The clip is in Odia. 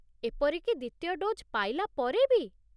ଏପରି କି ଦ୍ୱିତୀୟ ଡୋଜ୍ ପାଇଲା ପରେ ବି?